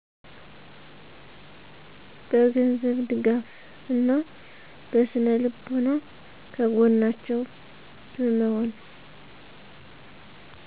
በ ገንዘብ ድጋፍ እና በ ስነልቦና ከገጎናቸው በመሆን